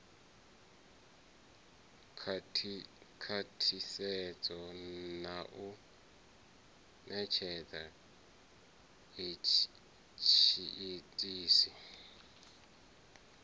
khwathisedzwa na u netshedza tshiitisi